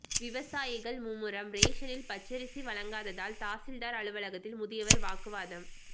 விவசாயிகள் மும்முரம் ரேஷனில் பச்சரிசி வழங்காததால் தாசில்தார் அலுவலகத்தில் முதியவர் வாக்குவாதம்